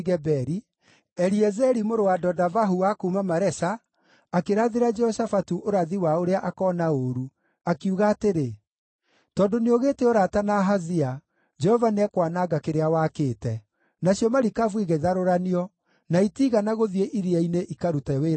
Eliezeri mũrũ wa Dodavahu wa kuuma Maresha akĩrathĩra Jehoshafatu ũrathi wa ũrĩa akoona ũũru, akiuga atĩrĩ, “Tondũ nĩũgĩĩte ũrata na Ahazia, Jehova nĩekwananga kĩrĩa wakĩte.” Nacio marikabu igĩtharũranio, na itiigana gũthiĩ iria-inĩ ikarute wĩra wa wonjoria.